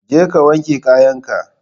Je ka wanke kayan ka!